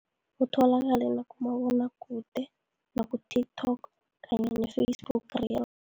Kutholakala nakumabonakude, naku-TikTok kanye ne-Facebook